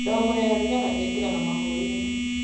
Ndogo ya thigara ĩingĩraga mahũri-inĩ.